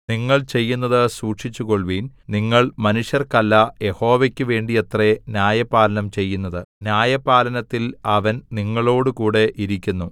നിങ്ങൾ ചെയ്യുന്നത് സൂക്ഷിച്ചുകൊള്ളുവിൻ നിങ്ങൾ മനുഷ്യർക്കല്ല യഹോവക്കു വേണ്ടിയത്രേ ന്യായപാലനം ചെയ്യുന്നത് ന്യായപാലനത്തിൽ അവൻ നിങ്ങളോടുകൂടെ ഇരിക്കുന്നു